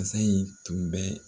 Basa in tun bɛ